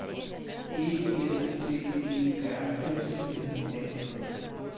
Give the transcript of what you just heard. E F T E R S N A K